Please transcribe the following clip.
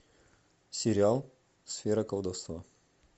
сериал сфера колдовства